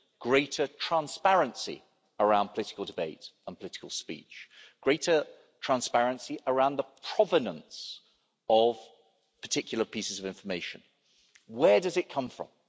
greater transparency around political debate and political speech, greater transparency around the provenance of particular pieces of information where does it come from?